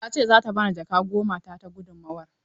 Ta ce za ta ba ni jaka goma ta ta gudunmawar.